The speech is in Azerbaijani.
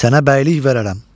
Sənə bəylik verərəm.